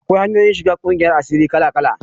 Akwai hanyoyin shiga ƙungiyar asiri kala-kala.